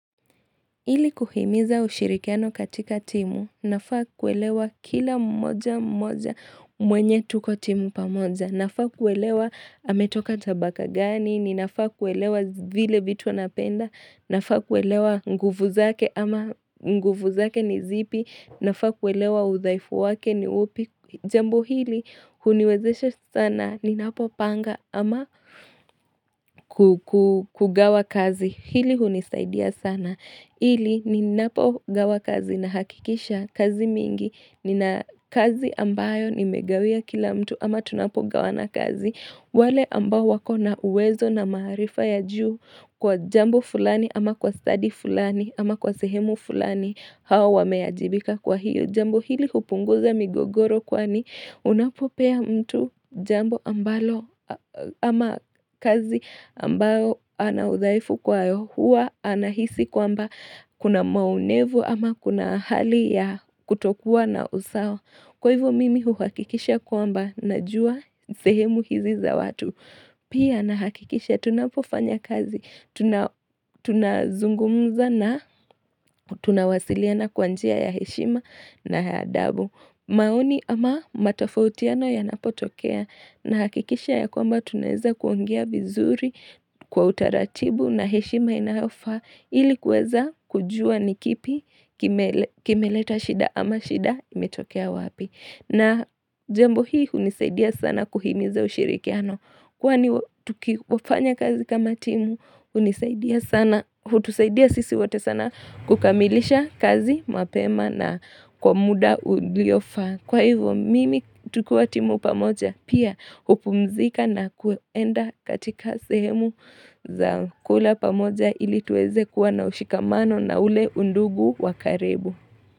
Hili kuhimiza ushirikiano katika timu, unafaa kuelewa kila mmoja mmoja mwenye tuko timu pamoja, nafaa kuelewa ametoka tabaka gani, ninafaa kuelewa vile vitu anapenda, nafaa kuelewa nguvu zake ama m nguvu zake ni zipi, nafaa kuelewa udhaifu wake ni upi. Jambo hili huniwezesha s sana, ninapopanga ama kugawa kazi, hili hunisaidia sana, ili ninapogawa kazi na hakikisha kazi mingi, nina kazi ambayo nimegawia kila mtu ama tunapogawana kazi, wale ambao wakona uwezo na maharifa ya juu kwa jambo fulani ama kwa stadi fulani ama kwa sehemu fulani hawa wameajirika kwa hiyo. Jambo hili hupunguza migogoro kwani unapopea mtu jambo ambalo aaaaa ama kazi ambayo ana udhaifu kwayo hua anahisi kwamba kuna maonevu ama kuna hali ya kutokuwa na usawa. Kwa hivyo mimi uhakikisha kwamba najua sehemu hizi za watu Pia nahakikisha tunapofanya kazi, tunazungumza na tunawasiliana kwa njia ya heshima na ya adabu maoni ama matofautiano yanapotokea nahakikisha ya kwamba tunaeza kuongea vizuri kwa utaratibu na heshima inayofaa ilikuweza kujua nikipi kimele kimeleta shida ama shida imetokea wapi. Na jambo hii hunisaidia sana kuhimiza ushirikiano. Kwani tuki kuafanya kazi kama timu, hunisaidia sana, hutusaidia sisi wote sana kukamilisha kazi mapema na kwa muda uliofa. Kwa hivyo, mimi tukiwa timu pamoja, pia hupumzika na kuenda katika sehemu za kula pamoja ili tuweze kuwa na ushikamano na ule undugu wa karibu.